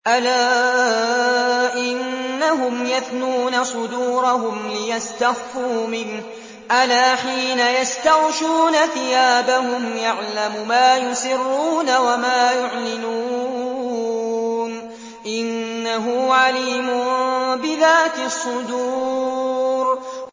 أَلَا إِنَّهُمْ يَثْنُونَ صُدُورَهُمْ لِيَسْتَخْفُوا مِنْهُ ۚ أَلَا حِينَ يَسْتَغْشُونَ ثِيَابَهُمْ يَعْلَمُ مَا يُسِرُّونَ وَمَا يُعْلِنُونَ ۚ إِنَّهُ عَلِيمٌ بِذَاتِ الصُّدُورِ